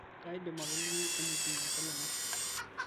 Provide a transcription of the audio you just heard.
kaidim atoliki enetiu enkolong' ai